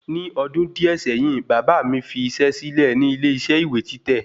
Ni ọdún díẹ̀ sẹ́yìn, bàbà mi fi isẹ́ sílè nílé isẹ́ ìwé títẹ̀